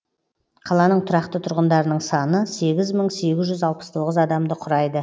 қаланың тұрақты тұрғындарының саны сегіз мың сегіз жүз алпыс тоғыз адамды құрайды